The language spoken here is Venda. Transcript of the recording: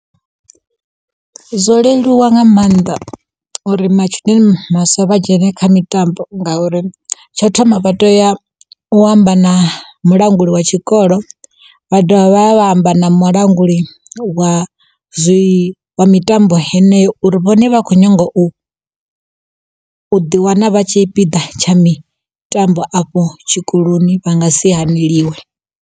Zwo leluwa nga maanḓa uri matshudeni maswa vha dzhene kha mitambo, ngauri tsho thoma vha tea u amba na mulanguli wa tshikolo, vha dovha vha vha vha amba na mulanguli wa zwi mitambo heneyo uri vhone vha khou nyanga u ḓi wana vha tshipiḓa tsha mitambo afho tshikoloni vha nga si haneliwe.